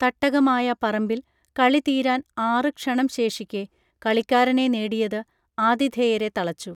തട്ടകമായ പറമ്പിൽ കളി തീരാൻ ആറു ക്ഷണം ശേഷിക്കെ കളിക്കാരനെ നേടിയത് ആതിഥേയരെ തളച്ചു